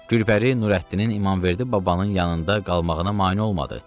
Gülpəri Nurəddinin İmamverdi babanın yanında qalmağına mane olmadı.